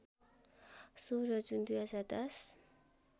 १६ जुन २०१०